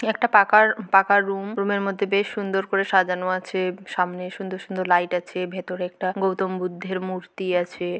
এটা একটা পাকার পাকার রুম রুম -এর মধ্যে বেশ সুন্দর করে সাজানো আছে। সামনে সুন্দর সুন্দর লাইট আছে ভেতরে একটা গৌতম বুদ্ধের মূর্তি আছে।